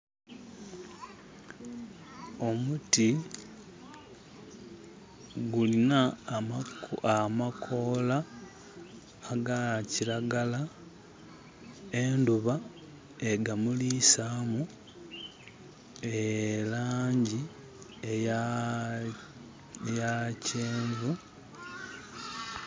Omuti gulina amakoola aga kiragala. Endhuba ega muliisamu e laangi eya, eya kyenvu.